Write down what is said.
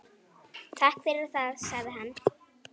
Takk fyrir það- sagði hann.